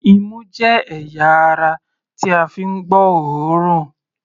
Imú jẹ́ ẹ̀yà ara tí a fi ń gbọ́ òórùn.